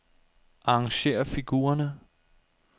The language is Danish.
Arrangér figurerne.